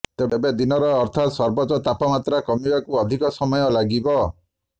ତେବେ ଦିନର ଅର୍ଥାତ୍ ସର୍ବୋଚ୍ଚ ତାପମାତ୍ରା କମିବାକୁ ଅଧିକ ସମୟ ଲାଗିବ